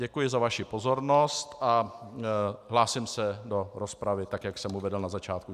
Děkuji za vaši pozornost a hlásím se do rozpravy, tak jak jsem uvedl na začátku.